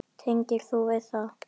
Tengir þú við það?